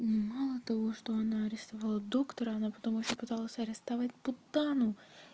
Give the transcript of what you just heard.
мало того что она рисовала доктора она потом ещё пыталась арестовать путану